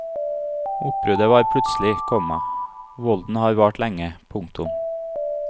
Oppbruddet var plutselig, komma volden har vart lenge. punktum